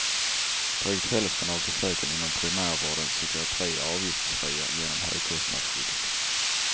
Drygt hälften av besöken inom primärvårdens psykiatri är avgiftsfria genom högkostnadsskyddet.